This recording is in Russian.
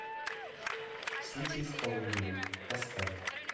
случай с полыниным поставь